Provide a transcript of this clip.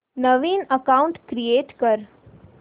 नवीन account create कर